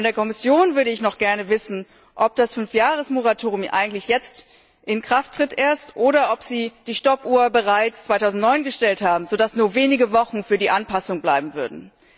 Von der Kommission würde ich noch gerne wissen, ob das Fünfjahres Moratorium eigentlich jetzt erst in Kraft tritt, oder ob Sie die Stoppuhr bereits 2009 gestellt haben, sodass nur wenige Wochen für die Anpassung bleiben würden.